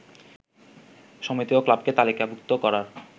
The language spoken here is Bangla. সমিতি ও ক্লাবকে তালিকাভুক্ত করার